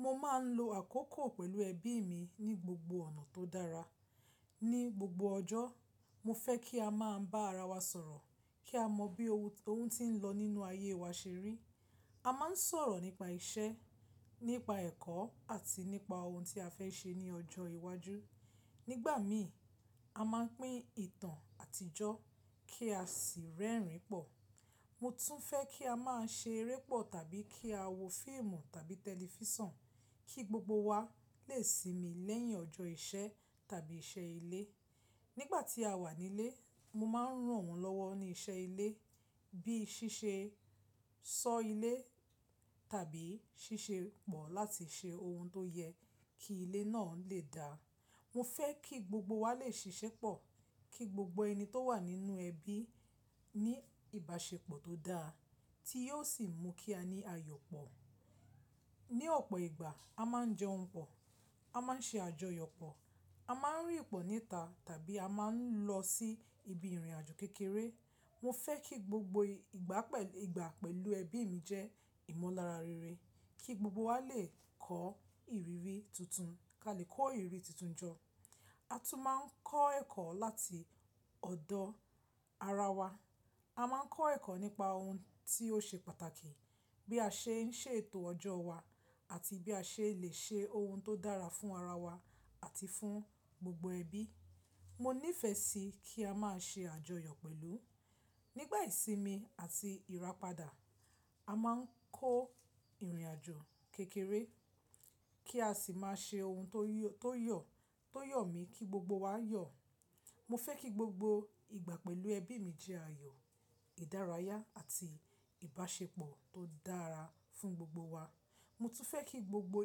Mo máa ń lo àkókò pẹ̀lú ẹbí mi ní gbogbo ọ̀nà tó dára. Ni gbogbo ọjọ́, mo fẹ́ kí a máa bá ara wa sọ̀rọ̀ kí a mọ bí ohun tí ń lọ nínú ayé wa ṣe rí. A máa ń sọ̀rọ̀ nípa iṣẹ́, nípa ẹ̀kọ́ àti nípa ohun tí a fẹ́ ṣe ní ọjọ́ iwájú. Nígbà mìí, a máa ń pín ìtàn àtijọ́ kí a sì rẹ́rìn-ín pọ̀. Mo tún fẹ́ kí a máa ṣe eré pọ̀ tàbí kí a wò fíìmù tàbí tẹlifíṣàn kí gbogbo wa lè sinmi lẹ́yìn ọjọ́ iṣẹ́ tàbí iṣẹ́ ilé. Nígbà tí a wà nílé, mo máa ń ràn wọ́n lọ́wọ́ ní iṣẹ́ ilé bí i ṣíṣe sọ́ ilé tàbí ṣíṣe pọ̀ láti ṣe ohun tó yẹ kí ilé náà lè da. Mo fẹ́ kí gbogbo wa lè ṣiṣẹ́ pọ̀, kí gbogbo ẹni tó wà nínú ẹbí ní ìbáṣepọ̀ tó dáa tí yóò sì mú kí a ní ayọ̀ pọ̀. Ni ọ̀pọ̀ ìgbà, a máa ń jẹun pọ̀, a máa ń ṣe àjọyọ̀ pọ̀, a máa ń rín pọ̀ níta tàbí a máa ń lọ sí ibi ìrìnàjò kékeré. Mo fẹ́ kí gbogbo ìgbà pẹ̀lú ẹbí mi jẹ́ ìmọ̀lára rere kí gbogbo wa lè kọ́ ìrírí tuntun, ká lè kọ́ ìrírí tuntun jọ. A tún máa ń kọ́ ẹ̀kọ́ láti ọ̀dọ̀ ara wa. A máa ń kọ́ ẹ̀kọ́ nípa ohun tí ó ṣe pàtàkì, bí a ṣe ń ṣètò ọjọ́ wa àti bí a ṣe lè ṣe ohun tó dára fún ara wa àti fún gbogbo ẹbí. Mo níìfẹ̀ sí kí a máa ṣe àjọyọ̀ pẹ̀lú. Nígbà ìsinmi àti ìràpadà, a máa ń kó ìrìnàjò kékeré kí a sì máa ṣe ohun tó yọ̀, tó yọ̀ mí kí gbogbo wa yọ̀. Mo fẹ́ kí gbogbo ìgbà pẹ̀lú ẹbí mi jẹ́ ayọ̀, ìdárayá àti ìbáṣepọ̀ tó dára fún gbogbo wa. Mo tún fẹ́ kí gbogbo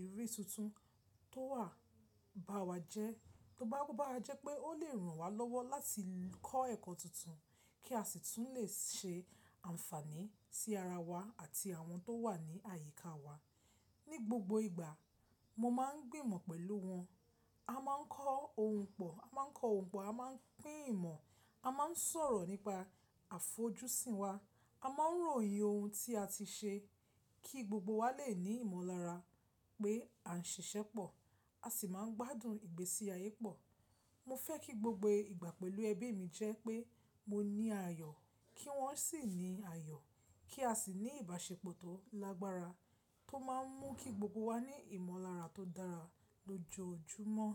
ìrírí tuntun tó wa bá wa jẹ́ pé ó lè ràn wá lọ́wọ́ láti kọ́ ẹ̀kọ́ tuntun kí a sì tún lè ṣe ànfààní sí ara wa àti àwọn tó wà ní àyíká wa. Ni gbogbo ìgbà, mo máa ń gbìmọ̀ pẹ̀lú wọn. A máa ń kọ ohun pọ̀, a máa ń kọ ohun pọ, a máa ń pín ìmọ̀, a máa ń sọ̀rọ̀ nípa àfojúsùn wa, a máa ń ròyìn ohun tí a ti ṣe kí gbogbo wa lè ní ìmọ̀lára pé a ń ṣiṣẹ́ pọ̀, a sì máa ń gbádùn ìgbésí ayé pọ̀. Mo fẹ́ kí gbogbo ìgbà pẹ̀lú ẹbí mi jẹ́ pé mo ní ayọ̀ kí wọ́n sì ní ayọ̀ kí a sì ní ìbáṣepọ̀ tó lágbára tó máa ń mú kí gbogbo wa ní ìmọ̀lára tó dára lójoojúmọ́.